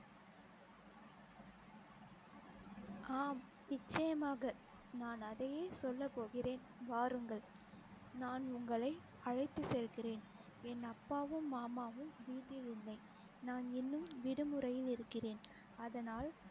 ஆம் நிச்சயமாக நான் அதையே சொல்ல போகிறேன் வாருங்கள் நான் உங்களை அழைத்துச் செல்கிறேன் என் அப்பாவும் மாமாவும் வீட்டில் இல்லை நான் இன்னும் விடுமுறையில் இருக்கிறேன் அதனால்